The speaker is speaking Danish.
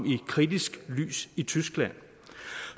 i kritisk lys i tyskland